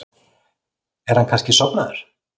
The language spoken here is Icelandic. Er hann kannski sofnaður?